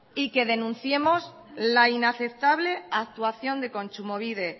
y que denunciemos la inaceptable actuación de kontsumobide